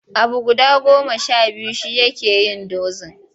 Abu guda goma sha biyu shi yake yake yin dozin.